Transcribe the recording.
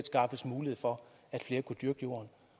skaffes mulighed for at flere kunne dyrke jorden